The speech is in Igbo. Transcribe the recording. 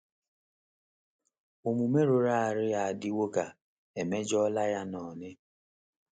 Omume rụrụ arụ ya adịwo ka emejọla yan'oni.